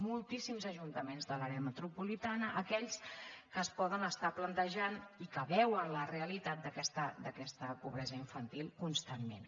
moltíssims ajuntaments de l’àrea metropolitana aquells que es poden estar plantejant i que veuen la realitat d’aquesta pobresa infantil constantment